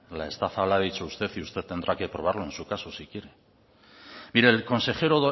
la estafa la ha dicho usted y usted tendrá que probarlo en su caso si quiere mire el consejero